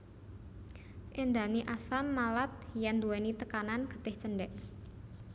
Éndhani asam malat yèn nduwèni tekanan getih cendhèk